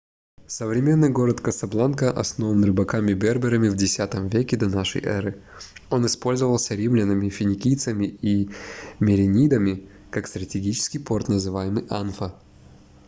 современный город касабланка основан рыбаками-берберами в x веке до н э он использовался римлянами финикийцами и меренидами как стратегический порт называемый анфа